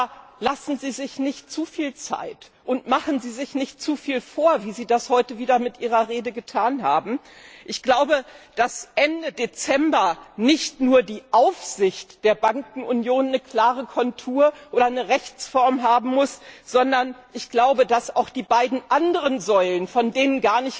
Aber lassen Sie sich nicht zu viel Zeit, und machen Sie sich nicht zu viel vor, wie Sie das heute wieder mit Ihrer Rede getan haben. Ich glaube, dass Ende Dezember nicht nur die Aufsicht der Bankenunion eine klare Kontur oder eine Rechtsform haben muss, sondern dass auch die beiden anderen Säulen stehen müssen, von denen